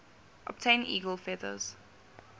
obtain eagle feathers